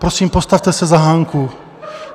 Prosím, postavte se za Hanku.